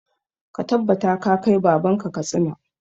Ka tabbata ka kai baban ka Katsina!